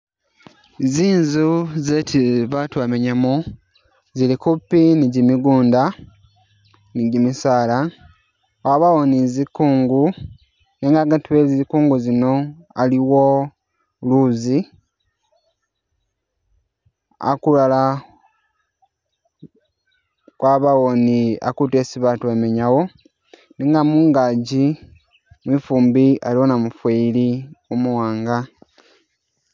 Zinzu zesi batu bamenyamo zili kupi ni gi migunda ni gimisala, wabawo ni zikungu nenga agati we zikungu zino aliwo luzi, akulala kwabawo ni akutu esi batu bamenyawo, nenga mungagi mwifumbi aliwo namufeeli umu wanga.